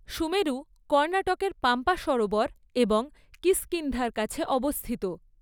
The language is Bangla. সুমেরু কর্ণাটকের পাম্পা সরোবর এবং কিষ্কিন্ধার কাছে অবস্থিত।